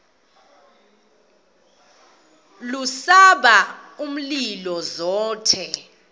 lubasa umlilo zothe